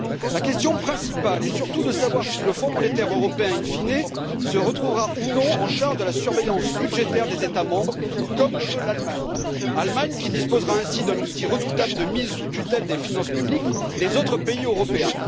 La question principale est surtout de savoir si le Fonds monétaire européen in fine se retrouvera ou non en charge de la surveillance budgétaire des États membres, comme le veut l'Allemagne, laquelle disposera ainsi d'un outil redoutable de mise sous tutelle des finances publiques des autres pays européens.